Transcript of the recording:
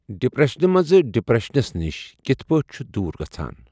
ڈِپرٮ۪شنہِ منٛز ڈِپرؠشَنَس نِش کِتھ پٲٹھۍ چھ دوٗر گژھان۔